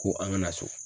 Ko an kana so